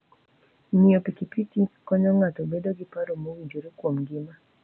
Ng'iyo pikipiki konyo ng'ato bedo gi paro mowinjore kuom ngima.